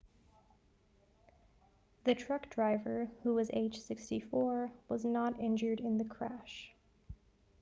the truck driver who is aged 64 was not injured in the crash